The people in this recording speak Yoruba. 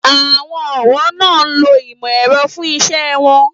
Àwọn ọ̀wọ́ náà ń lo ìmò ẹ̀rọ fún iṣẹ́ won